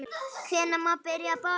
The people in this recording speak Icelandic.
Hvenær má byrja að borða?